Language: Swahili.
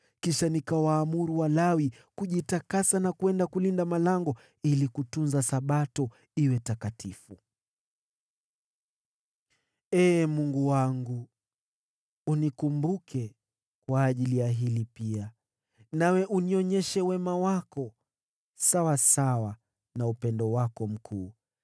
Kisha nikawaamuru Walawi kujitakasa na kwenda kulinda malango ili kutunza Sabato iwe takatifu. Ee Mungu wangu, unikumbuke kwa ajili ya hili pia, nawe unionyeshe wema wako sawasawa na upendo wako mkuu.